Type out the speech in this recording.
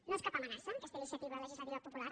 no és cap amenaça aquesta iniciativa legislativa popular